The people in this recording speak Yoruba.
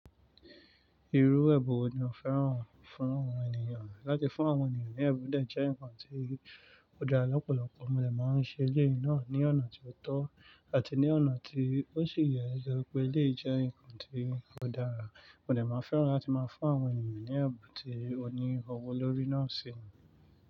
Irú ẹbun wo ni o fẹ́ràn fún àwọn ènìyàn láti fún àwọn ènìyàn ní ẹ̀bùn, de jẹ́ ǹnkan tí ó dára lọ́pọ̀lọpọ̀, mo dè máa ń ṣe eléyi náà ní ọ̀nà tí ó tọ́ àti ní ọ̀nà tí ó sì yẹ nitori pé eléyii jẹ́ ǹnkan tí ó dára, mo dè máa fẹ́ràn láti máa fún àwọn ènìyàn ní ẹ̀bùn tí ó ní ọwọ́ lórí náà ṣe.